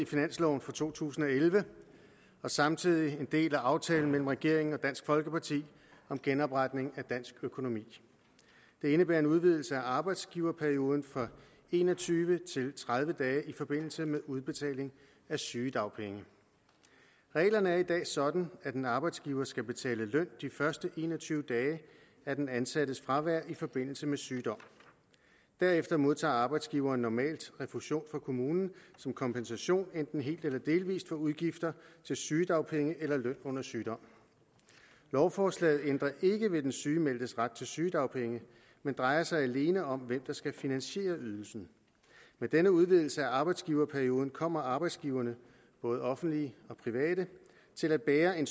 i finansloven for to tusind og elleve og samtidig en del af aftalen mellem regeringen og dansk folkeparti om genopretning af dansk økonomi det indebærer en udvidelse af arbejdsgiverperioden fra en og tyve til tredive dage i forbindelse med udbetaling af sygedagpenge reglerne er i dag sådan at en arbejdsgiver skal betale løn de første en og tyve dage af den ansattes fravær i forbindelse med sygdom derefter modtager arbejdsgiveren normalt refusion fra kommunen som kompensation enten helt eller delvis for udgifter til sygedagpenge eller løn under sygdom lovforslaget ændrer ikke ved den sygemeldtes ret til sygedagpenge men drejer sig alene om hvem der skal finansiere ydelsen med denne udvidelse af arbejdsgiverperioden kommer arbejdsgiverne både offentlige og private til at bære en